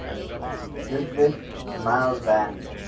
ludwig mies van